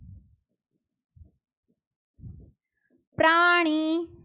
પ્રાણી